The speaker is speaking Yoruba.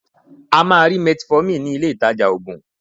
A máa rí metformin ní ileh-ìtajà oògùn.